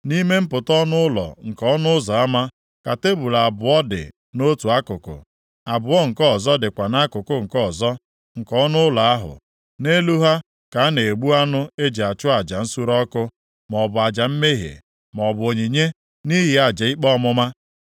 Nʼime mpụta ọnụ ụlọ nke ọnụ ụzọ ama, ka tebul abụọ dị nʼotu akụkụ, abụọ nke ọzọ dịkwa nʼakụkụ nke ọzọ nke ọnụ ụlọ ahụ. Nʼelu ha ka a na-egbu anụ e ji achụ aja nsure ọkụ, maọbụ aja mmehie, maọbụ onyinye nʼihi aja ikpe ọmụma.